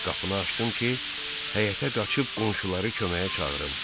Qapını açdım ki, həyətə qaçıb qonşuları köməyə çağırım.